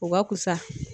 O ka fusa